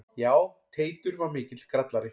Já, Teitur var mikill grallari.